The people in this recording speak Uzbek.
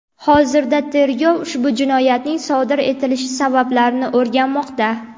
Hozirda tergov ushbu jinoyatning sodir etilishi sabablarini o‘rganmoqda.